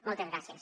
moltes gràcies